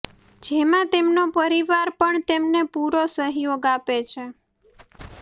જેમાં તેમનો પરિવાર પણ તેમને પૂરો સહયોગ આપે છે